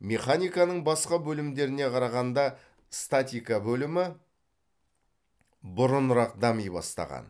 механиканың басқа бөлімдеріне қарағанда статика бөлімі бұрынырақ дами бастаған